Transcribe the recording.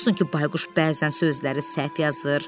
Nə olsun ki, Bayquş bəzən sözləri səhv yazır.